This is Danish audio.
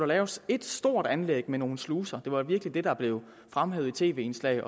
laves et stort anlæg med nogle sluser det var virkelig det der blev fremhævet i tv indslag